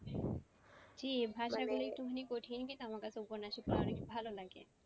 জি একটু খানিক কঠিন কিন্তু আমার কাছে উপন্যাসিক পড়া বেশ ভালো লাগে।